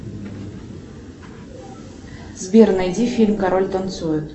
сбер найди фильм король танцует